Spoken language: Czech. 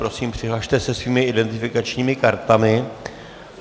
Prosím, přihlaste se svými identifikačními kartami.